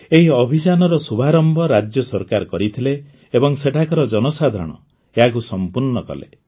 ଏହି ଅଭିଯାନର ଶୁଭାରମ୍ଭ ରାଜ୍ୟ ସରକାର କରିଥିଲେ ଏବଂ ସେଠାକାର ଜନସାଧାରଣ ଏହାକୁ ସମ୍ପୂର୍ଣ୍ଣ କଲେ